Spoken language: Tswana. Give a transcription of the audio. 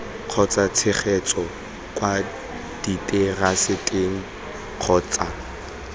kgotsa tshegetso kwa diteraseteng kgotsa